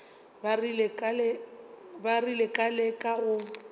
ba rile ka leka go